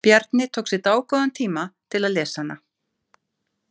Bjarni tók sér dágóðan tíma til að lesa hana.